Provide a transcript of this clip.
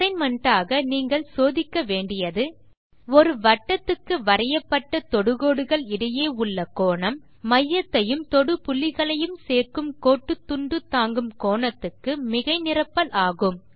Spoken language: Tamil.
அசைன்மென்ட் ஆக நீங்கள் சோதிக்க வேண்டியது ஒரு வட்டத்துக்கு வரையப்பட்ட தொடுகோடுகள் இடையே உள்ள கோணம் மையத்தையும் தொடுபுள்ளிகளையும் சேர்க்கும் கோட்டுத்துண்டு தாங்கும் கோணத்துக்கு மிகை நிரப்பல் ஆகும்